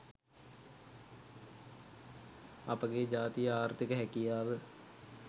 අපගේ ජාතියේ ආර්තික හැකියාව